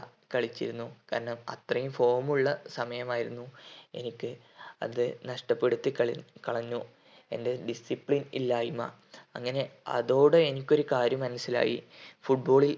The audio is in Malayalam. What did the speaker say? കളിച്ചിരുന്നു കാരണം അത്രയും form ഉള്ള സമയമായിരുന്നു എനിക്ക് അത് നഷ്ടപ്പെടുത്തി കളി കളഞ്ഞു എൻ്റെ discipline ഇല്ലായ്‌മ അങ്ങനെ അതോടെ എനിക്ക് ഒരു കാര്യം മനസ്സിലായി football ൽ